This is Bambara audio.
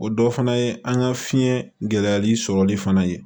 O dɔ fana ye an ka fiɲɛ gɛlɛyali sɔrɔli fana ye